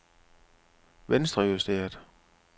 venstrejusteret